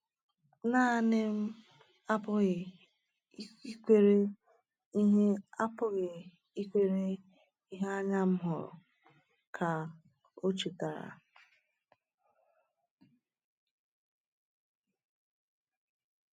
“Naanị m apụghị ikwere ihe apụghị ikwere ihe anya m hụrụ,” ka o chetara.